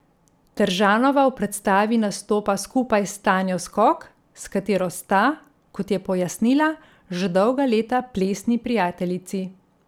Teržanova v predstavi nastopa skupaj s Tanjo Skok, s katero sta, kot je pojasnila, že dolga leta plesni prijateljici.